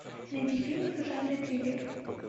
найди фильм в жанре триллер